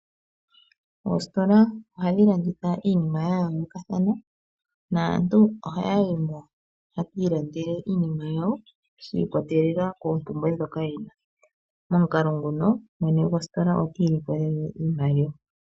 Oositola ohadhi landitha iinima ya yoolokathana. Aantu ohaa yi mo ye ki ilandele iinima yawo shi ikwatelela koompumbwe ndhoka ye na, no momukalo nguno mwene gositola oti ilikolele iimaliwa.